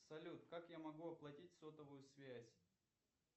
салют как я могу оплатить сотовую связь